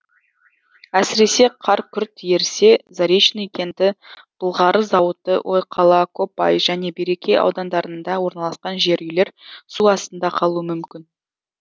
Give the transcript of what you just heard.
әсіресе қар күрт ерісе заречный кенті былғары зауыты ойқала копай және береке аудандарында орналасқан жер үйлер су астында қалуы мүмкін